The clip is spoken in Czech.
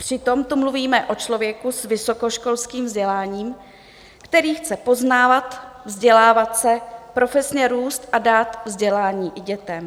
Přitom tu mluvíme o člověku s vysokoškolským vzděláním, který chce poznávat, vzdělávat se, profesně růst a dát vzdělání i dětem.